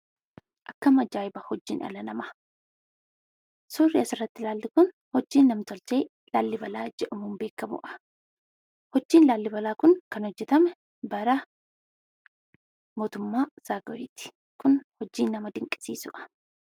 Akkam ajaa'iba hojiin dhala namaa! Suurri asirratti laallu kun hojii namtolchee 'Laallibalaa' jedhamuun beekamudha. Hojiin Laallibalaa kun kan hojjetame bara mootummaa Zaaguweeti. Kunis ittiin nama dinqisiisuudhaaf!